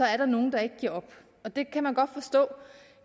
er der nogen der ikke giver op det kan man godt forstå